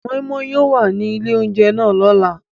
Moi Moi yóò wa ni ile ounjẹ náà lọla.